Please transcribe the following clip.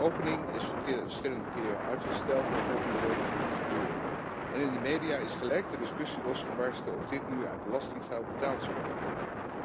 De opening is verschillende keren uitgesteld, maar volgende week gaat het gebeuren en in de media is gelijk de discussie losgebarsten of dit nu uit belastinggeld betaald zou moeten worden.